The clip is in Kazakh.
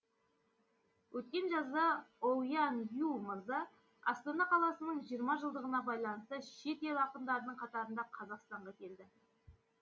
өткен жазда оуяң ю мырза астана қаласының жиырма жылдығына байланысты шет ел ақындарының қатарында қазақстанға келді